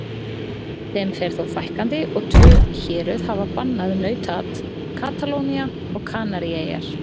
Þeim fer þó fækkandi og tvö héröð hafa bannað nautaat, Katalónía og Kanaríeyjar.